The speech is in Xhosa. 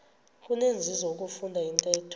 kunenzuzo ukufunda intetho